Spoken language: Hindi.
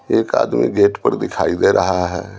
एक आदमी गेट पर दिखाई दे रहा है।